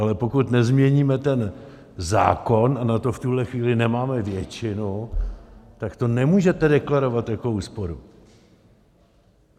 Ale pokud nezměníme ten zákon, a na to v tuhle chvíli nemáme většinu, tak to nemůžete deklarovat jako úsporu.